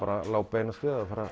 lá beinast við að fara